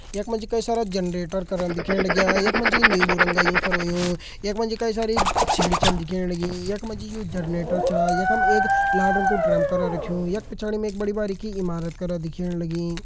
यख मा जी कई सारा जनरेटर करण दिखेण लग्यां यख मा जी नीलू रंग यूं फर हुयुं यख म जी कई सारी सीढ़ी छन दिखेण लगीं यख म जी यू जनरेटर छा यखम एक लाल रंग कु ड्रम करा रख्युं यख पिछाड़ी में एक बड़ी बारीकी इमारत करा दिखेण लगीं।